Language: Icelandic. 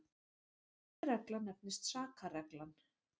þessi regla nefnist sakarreglan